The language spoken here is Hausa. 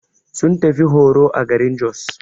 Sun tafi horo a garin Jos.